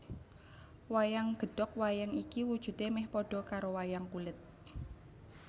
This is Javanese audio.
Wayang Gedog Wayang iki wujudè mèh padha karo wayang kulit